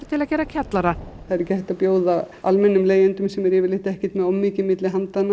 til að gera kjallara það er ekki hægt að bjóða almennum leigjendum sem eru yfirleitt ekki með of mikið á milli handanna